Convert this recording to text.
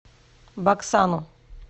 баксану